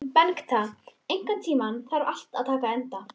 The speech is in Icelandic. Bengta, einhvern tímann þarf allt að taka enda.